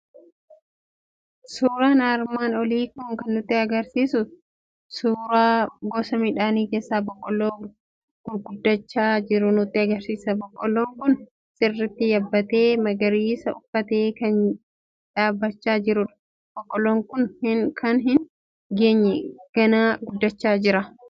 Suuraan armaan olii kan nutti argisiisu suuraa gosa midhaan keessaa boqqoolloo gurguddachaa jiru nutti argisiisa. Boqqolloon kun sirriitt yabbatee, magariisa uffatee kan dhaabbachaa jirudha. Boqqolloon kun kan hin geenye ganaa guddachaa jira